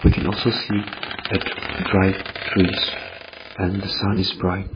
we can also see a dry trees and the sun is bright.